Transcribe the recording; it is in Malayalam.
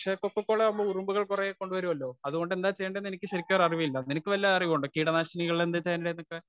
സ്പീക്കർ 1 പക്ഷെ കൊക്കക്കോള കുറെ ഉറുമ്പുകളെ കൊണ്ടുവരുമല്ലോ അതുകൊണ്ട് എന്താ ചെയ്യണ്ടെന്നു എനിക്ക് ശരിക്കറിവില്ല. നിനക്ക് വല്ല അറിവും ഉണ്ടോ? കീടനാശിനികൾ എന്താ ചെയ്യണ്ടെന്നൊക്കെ.